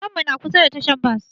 Gidan mu na kusa da tahar Bas